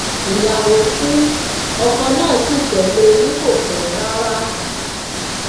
ìyàwó ku ọkọ náà sí tẹlé e ni kò pẹ rárá